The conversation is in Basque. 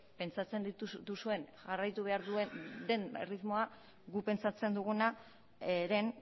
pentsatzen duzuen jarraitu behar den erritmoa guk pentsatzen dugunaren